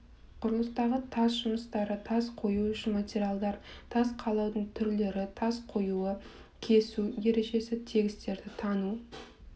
құрылыстағы тас жұмыстары тас қоюы үшін материалдар тас қалаудың түрлері тас қоюы кесу ережесі тігістерді таңу